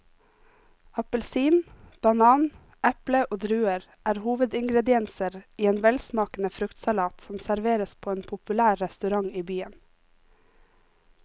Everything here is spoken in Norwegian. Appelsin, banan, eple og druer er hovedingredienser i en velsmakende fruktsalat som serveres på en populær restaurant i byen.